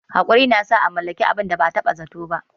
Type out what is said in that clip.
Haƙuri na sa a mallaki abin da ba a taɓa zato ba.